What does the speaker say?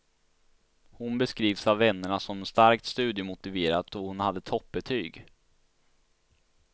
Hon beskrivs av vännerna som starkt studiemotiverad och hon hade toppbetyg.